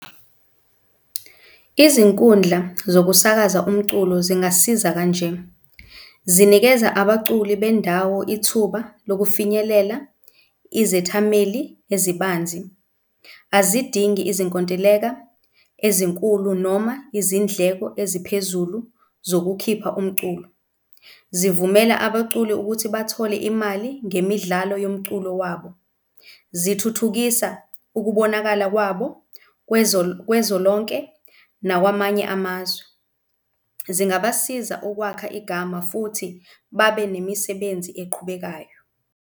Izinkundla zokusakaza umculo zingasiza kanje, zinikeza abaculi bendawo ithuba lokufinyelela izethameli ezibanzi, azidingi izinkontileka ezinkulu noma izindleko eziphezulu zokukhipha umculo, zivumela abaculi ukuthi bathole imali ngemidlalo yomculo wabo, zithuthukisa ukubonakala kwabo kwezwe lonke nakwamanye amazwe. Zingabasiza ukwakha igama futhi babe nemisebenzi eqhubekayo.